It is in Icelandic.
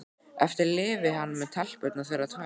Eftir lifi hann með telpurnar þeirra tvær.